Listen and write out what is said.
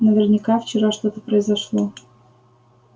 наверняка вчера что-то произошло